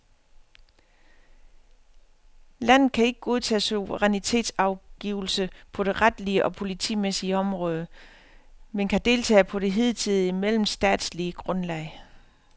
Landet kan ikke godtage suverænitetsafgivelse på det retlige og politimæssige område, men kan deltage på det hidtidige mellemstatslige grundlag.